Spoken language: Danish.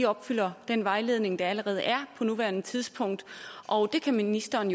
opfylder den vejledning der allerede er på nuværende tidspunkt og det kan ministeren